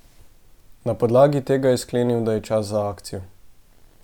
Na podlagi tega je sklenili, da je čas za akcijo.